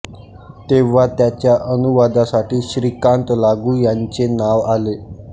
तेव्हा त्याच्या अनुवादासाठी श्रीकांत लागू यांचे नाव आले